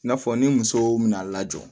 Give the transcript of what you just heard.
I n'a fɔ ni musow bɛna a lajɔ